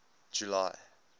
july